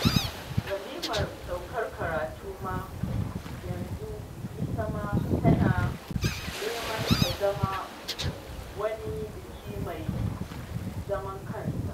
Walimar saukar karatu ma yanzu ita ma tana neman ta zama wani biki mai zaman kansa